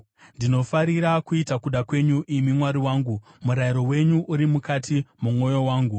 Ndinofarira kuita kuda kwenyu, imi Mwari wangu; murayiro wenyu uri mukati momwoyo wangu.”